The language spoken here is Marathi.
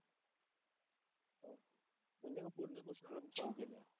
क्वेश्चन पेपर छान गेले.